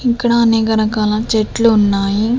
ఇక్కడ అనేక రకాల చెట్లు ఉన్నాయి.